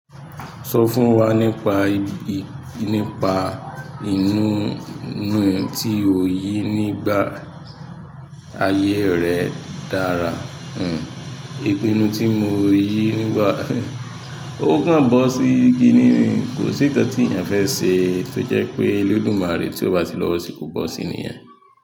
Sọ fún wa nípa, nípa ìnù tí o yìí nígbà ayé rẹ dára. Hmm, ìpinnu tí mo yi nígbà ó kan bọ́ sí kini mi, kò sí nǹkan tí èèyàn fẹ́ ṣe tó jẹ́ pé Olódùmarè tí ó bá ti lọ́wọ́ sì kó bọ́ sí níyẹn.